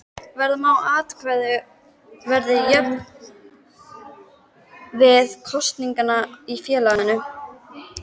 Vera má að atkvæði verði jöfn við kosningar í félaginu.